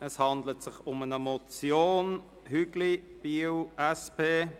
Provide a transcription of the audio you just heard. Es handelt sich um eine Motion Hügli, Biel, SP: